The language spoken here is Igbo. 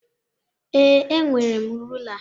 Ee, enwere m rula.